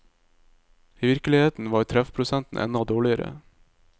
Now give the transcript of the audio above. I virkeligheten var treffprosentene enda dårligere.